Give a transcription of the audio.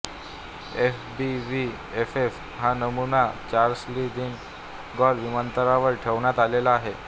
FBVFF हा नमूना Charles de Gaulle विमानतळावर ठेवण्यात आलेला आहे